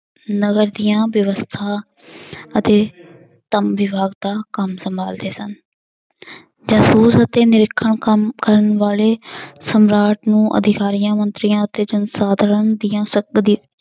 ਨਗਰ ਦੀਆਂ ਵਿਵਸਥਾ ਅਤੇ ਕੰਮ ਸੰਭਾਲਦੇ ਸਨ ਜਾਸੂਸ ਅਤੇ ਕੰਮ ਕਰਨ ਵਾਲੇ ਸਮਰਾਟ ਨੂੰ ਅਧਿਕਾਰੀਆਂ ਮੰਤਰੀਆਂ ਅਤੇ ਜਨਸਾਧਨ ਦੀਆਂ